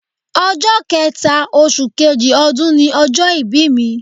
Ọjọ́ kẹẹ̀ta oṣù kejì ọdún ni ọjọ́ ìbí mi